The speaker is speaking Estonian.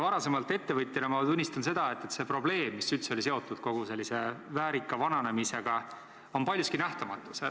Varem ettevõtja olnuna ma tunnistan seda, et kogu see probleem, mis on seotud kogu sellise väärika vananemisega üldse, on paljuski nähtamatu.